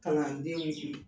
Kalanden kun